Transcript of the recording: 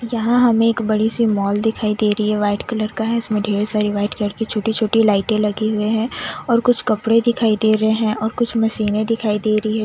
यहा हमें एक बड़ी सी माल दिखाई दे रही है वाइट कलर का है इसमे ठेर सारी वाइट कलर की छोटी छोटी लाइटे लगी हुई है और कुछ कपड़े दिखाई दे रहे है और कुछ मशीने दिखाई दे रही है।